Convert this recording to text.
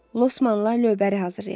Losmanla lövbəri hazırlayaq.